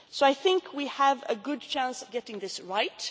be addressed. So I think we have a good chance of getting